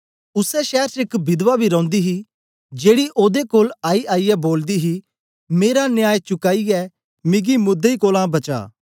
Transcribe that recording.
उसै शैर च एक विधवा बी रौंदी ही जेड़ी ओदे कोल आईआईयै बोलदी ही मेरा न्याय चुकाईयै मिगी मुदृई कोलां बचा